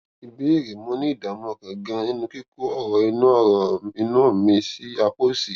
ìbéèrè mo ní ìdààmú ọkàn ganan nínú kíkó ọrọ inú ọrọ inú mi ní apá òsì